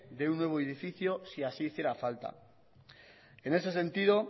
de un nuevo edificio si así hiciera falta en ese sentido